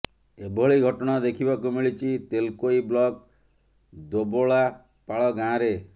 ଏଭଳି ଘଟଣା ଦେଖିବାକୁ ମିଳିଛି ତେଲକୋଇ ବ୍ଲକ ଦୋବଲାପାଳ ଗାଁରେ